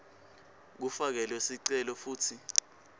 kufakelwe sicelo futsi